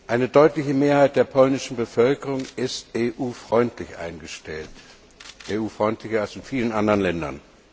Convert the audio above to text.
Eine deutliche Mehrheit der polnischen Bevölkerung ist EU freundlich eingestellt, EU freundlicher als in vielen anderen Ländern.